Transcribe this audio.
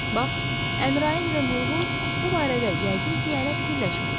Bax, Əmrayın və Mılğın bu barədə yəqin ki hələ fikirləşmirlər.